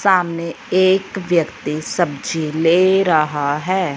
सामने एक व्यक्ति सब्जी ले रहा है।